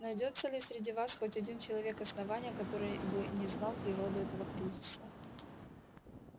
найдётся ли среди вас хоть один человек основания который бы не знал природу этого кризиса